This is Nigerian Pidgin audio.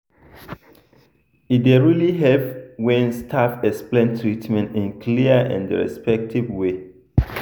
e dey really help when staff explain treatment in clear and respectful way.